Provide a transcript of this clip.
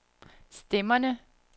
stemmerne